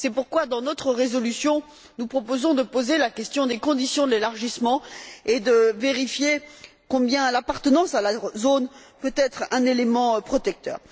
C'est pourquoi, dans notre résolution, nous proposons de poser la question des conditions de l'élargissement et de vérifier combien l'appartenance à la zone peut être un élément protecteur.